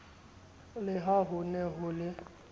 le ha hone ho le